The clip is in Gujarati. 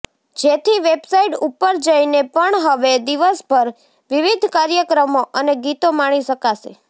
જેથી વેબસાઈટ ઉપર જઈને પણ હવે દિવસભર વિવિધ કાર્યક્રમો અને ગીતો માણી શકાશે